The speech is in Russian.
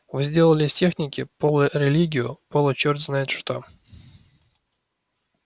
вы сделали из техники полурелигию получёрт знает что